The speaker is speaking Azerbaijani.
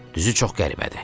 Düzü çox qəribədir.